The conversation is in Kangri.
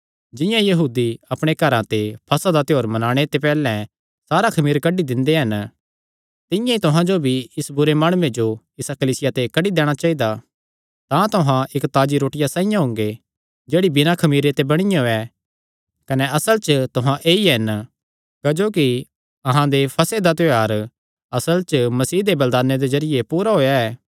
जिंआं यहूदी अपणे घरां ते फसह दा त्योहार मनाणे ते पैहल्लैं सारा खमीर कड्डी दिंदे हन तिंआं ई तुहां जो भी इस बुरे माणुये जो इसा कलीसिया ते कड्डी दैणा चाइदा तां तुहां इक्क ताजी रोटिया साइआं हुंगे जेह्ड़ी बिना खमीरे ते बणियो ऐ कने असल च तुहां ऐई हन क्जोकि अहां दे फसह दा त्योहार असल च मसीह दे बलिदाने दे जरिये पूरा होएया ऐ